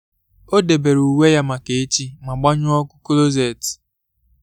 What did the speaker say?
ọ debere uwe ya maka echi ma gbanyụọ ọkụ kọlọset.